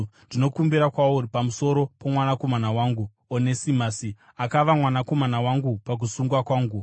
ndinokumbira kwauri pamusoro pomwanakomana wangu Onesimasi, akava mwanakomana wangu pakusungwa kwangu.